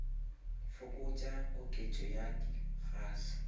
fokotša koketšo ya di gas